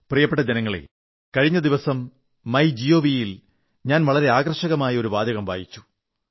പ്രിയപ്പെട്ട ജനങ്ങളേ കഴിഞ്ഞ ദിവസം മൈ ജിഒവി യിൽ ഞാൻ വളരെ ആകർഷകമായ ഒരു വാചകം വായിച്ചു